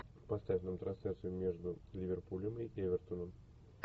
поставь нам трансляцию между ливерпулем и эвертоном